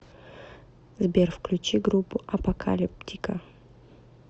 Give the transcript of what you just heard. сбер включи группу апокалиптика